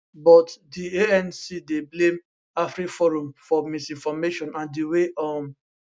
but di anc dey blame afriforum for misinformation and di way um